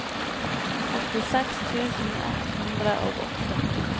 åttiseks tusen ett hundre og åtte